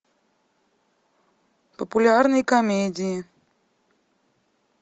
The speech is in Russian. популярные комедии